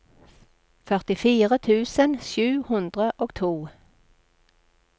førtifire tusen sju hundre og to